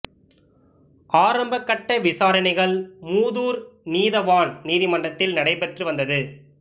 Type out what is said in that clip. ஆரம்பக் கட்ட விசாரணைகள் மூதூர் நீதவான் நீதிமன்றத்தில் நடைபெற்று வந்தது